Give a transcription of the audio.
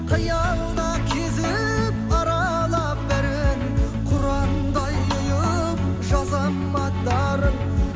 қиялда кезіп аралап бәрін құрандай ұйып жазам аттарын